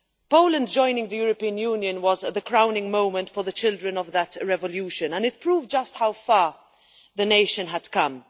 Poland joining the European Union was the crowning moment for the children of that revolution and it proved just how far the nation had come.